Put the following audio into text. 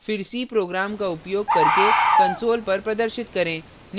फिर c program का उपयोग करके console पर प्रदर्शित करें